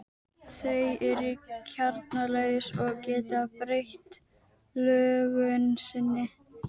Þau eru kjarnalaus og geta breytt lögun sinni.